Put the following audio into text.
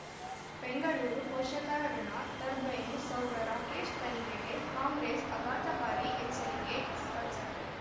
ಬೆಂಗಳೂರು ಪೋಷಕರಋಣ ಟರ್ಬೈನು ಸೌಧ ರಾಕೇಶ್ ತನಿಖೆಗೆ ಕಾಂಗ್ರೆಸ್ ಅಘಾತಕಾರಿ ಎಚ್ಚರಿಕೆ ಸ್ವಚ್ಛತೆ